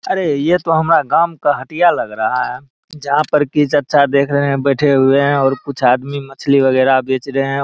अरे ये तो हमारा गाओं का हटिया लग रहा है जहाँ पर की चाचा देख रहे है बैठे हुए और कुछ आदमी मछली वगेरा बेच रहे है।